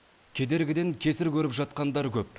кедергіден кесір көріп жатқандар көп